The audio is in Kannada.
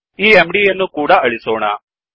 ಈmdಯನ್ನೂ ಕೂಡಾ ಅಳಿಸೋಣ